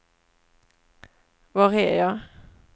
var är jag